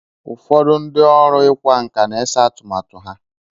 Ụfọdụ ndị ọrụ ịkwa nkà na-ese atụmatụ ha.